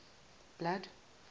blood